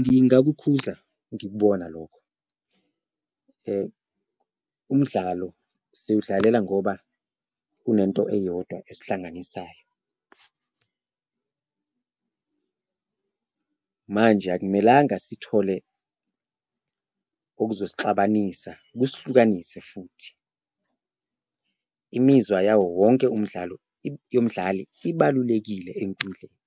Ngingakukhuza ngikubona lokho umdlalo siwudlalela ngoba kunento eyodwa esihlanganisayo manje akumelanga sithole okuzongixabanisa, kusihlukanise futhi imizwa yawo wonke umdlalo umdlali ibalulekile enkundleni.